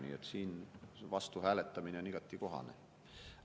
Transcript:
Nii et siin vastu hääletamine on igati kohane.